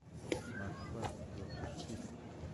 москва лопушки